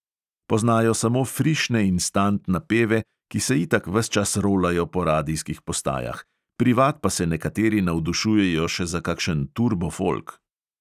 Poznajo samo frišne instant napeve, ki se itak ves čas rolajo po radijskih postajah, privat pa se nekateri navdušujejo še za kakšen turbo folk.